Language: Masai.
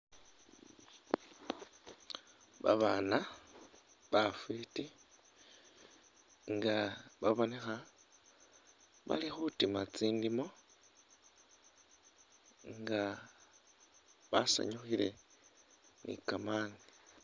Babana bafiti nga babonekha bali khutima tsindimo nga basanyukhile ni kamani.